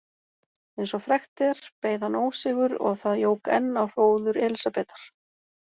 Eins og frægt er beið hann ósigur og það jók enn á hróður Elísabetar.